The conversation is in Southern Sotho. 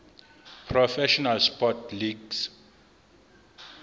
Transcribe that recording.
professional sports leagues